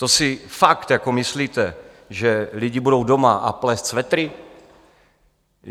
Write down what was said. To si fakt jako myslíte, že lidi budou doma a plést svetry?